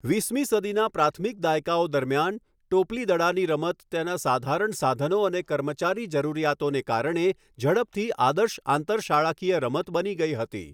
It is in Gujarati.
વીસમી સદીના પ્રાથમિક દાયકાઓ દરમિયાન, ટોપલી દડાની રમત, તેના સાધારણ સાધનો અને કર્મચારી જરૂરિયાતોને કારણે ઝડપથી આદર્શ આંતરશાળાકીય રમત બની ગઈ હતી.